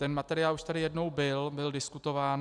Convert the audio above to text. Ten materiál už tady jednou byl, byl diskutován.